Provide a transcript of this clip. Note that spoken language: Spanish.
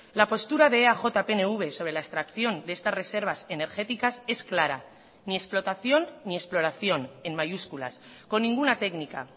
la postura de eaj pnv sobre la extracción de estas reservas energéticas es clara ni explotación ni exploración en mayúsculas con ninguna técnica